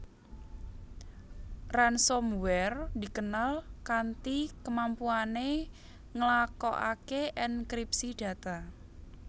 Ransomware dikenal kanti kemampuané nglakokaké ènkripsi data